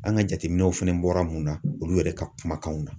An ka jateminɛw fana bɔra mun na, olu yɛrɛ ka kumakanw na.